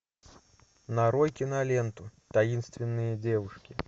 нарой киноленту таинственные девушки